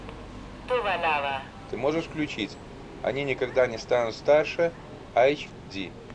ты можешь включить они никогда не станут старше айч ди